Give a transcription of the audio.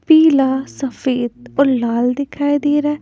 पीला सफेद और लाल दिखाई दे रहा है।